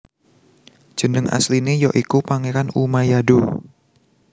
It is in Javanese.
Jeneng asline ya iku Pangeran Umayado